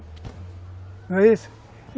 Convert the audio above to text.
Não é isso?